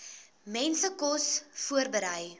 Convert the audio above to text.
mense kos voorberei